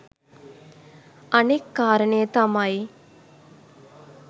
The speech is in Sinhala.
අනෙක් කාරණය තමයි